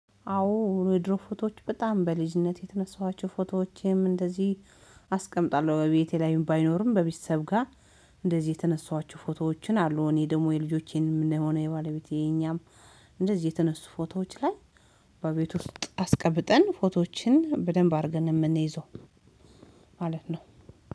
አዎ የድሮ ፎቶዎች በጣም በልጅነት የተነሳኋቸው ፎቶዎቼም እንደዚህ አስቀምጣለሁ በቤቴ ላይ ባይኖርም በቤተሰብ ጋር እንደዚህ የተነሳኋቸው ፎቶዎችን አሉ። እኔ ደግሞ የልጆቼን ሆነ የባለቤቴ የኛም እንደዚህ የተነሱ ፎቶዎች ላይ በቤት ውስጥ አስቀብጠን ፎቶዎችን በደንብ አድርገን የምንይዘው ማለት ነው።